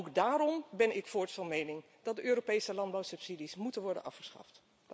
Ook daarom ben ik voorts van mening dat de Europese landbouwsubsidies moeten worden afgeschaft.